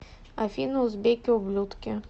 афина узбеки ублюдки